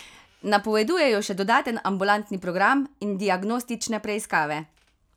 Napovedujejo še dodaten ambulantni program in diagnostične preiskave.